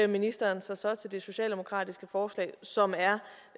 ministeren sig så til det socialdemokratiske forslag som er